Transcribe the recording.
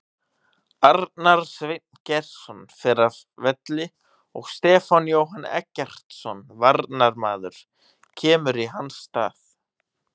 Arnar Sveinn Geirsson fer af velli og Stefán Jóhann Eggertsson varnarmaður kemur í hans stað.